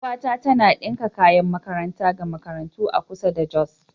Yar uwata tana ɗinka kayan makaranta ga makarantu a kusa da Jos.